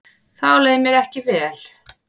Þá leið mér ekki vel.